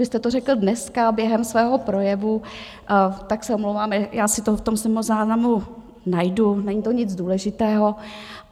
Vy jste to řekl dneska během svého projevu, tak se omlouvám, já si to v tom stenozáznamu najdu, není to nic důležitého.